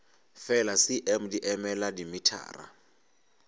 fela cm di emela dimetara